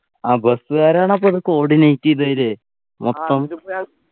ആ bus കാരാണ് അപ്പൊത് coordinate ചെയ്തലെ മൊത്തം